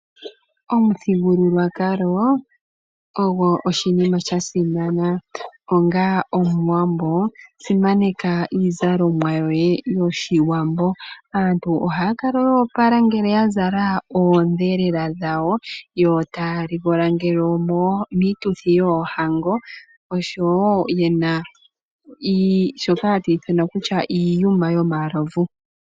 Omuthigululwakalo ogwo oshinima sha simana. Onga omuwambo, simaneka iizalomwa yoye yoshiwambo. Aantu ohaya kala yo opala ngele ya zala oondhelela dhawo, yo taya ligola ngele omiituthi yoohango oshowo ye na shoka hatu ithana kutya iiyuma yomalovu.